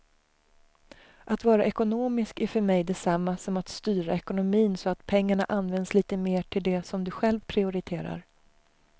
Att vara ekonomisk är för mig detsamma som att styra ekonomin så att pengarna används lite mer till det som du själv prioriterar.